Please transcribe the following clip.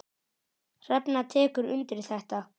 Hrefna tekur undir þetta.